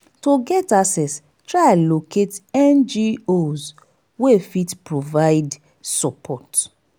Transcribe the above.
to get access try locate ngos wey fit provide support